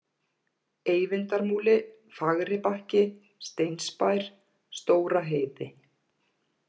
Eyvindarmúli, Fagribakki, Steinsbær, Stóra-Heiði